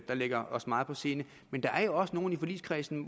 der ligger os meget på sinde men der er jo også nogle i forligskredsen